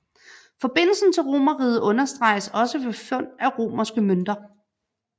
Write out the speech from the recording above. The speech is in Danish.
Forbindelsen til Romerriget understreges også ved fund af romerske mønter